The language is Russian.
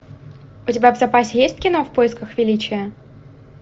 у тебя в запасе есть кино в поисках величия